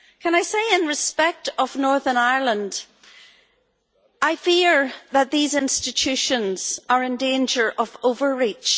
Can I say, in respect of Northern Ireland, that I fear that these institutions are in danger of overreach?